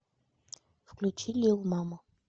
включи лил мама